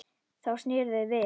Þá sneru þau við.